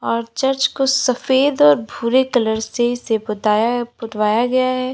और चर्च को सफेद और भूरे कलर से से पुताया पुतवाया गया है।